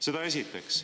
Seda esiteks.